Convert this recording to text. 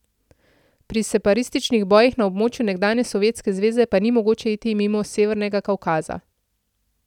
Pri separatističnih bojih na območju nekdanje Sovjetske zveze pa ni mogoče iti mimo Severnega Kavkaza.